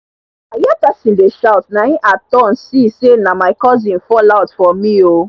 i hear person dey shout na e i turn see say na my cousin fall out for me o